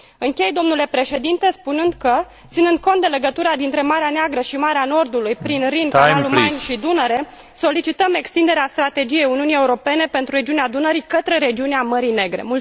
Închei, domnule președinte, spunând că, ținând cont de legătura dintre Marea Neagră și Marea Nordului prin Rin, canalul Main și Dunăre, solicităm extinderea Strategiei Uniunii Europene pentru regiunea Dunării către regiunea Mării Negre.